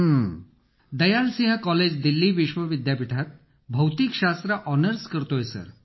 अखिल Dayal Singh college Delhi विश्व विद्यापीठात भौतिक शास्त्र ऑनर्स करत आहे सर